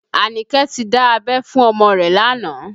Anike ti dá abẹ́ fún ọmọ rẹ̀ lánàá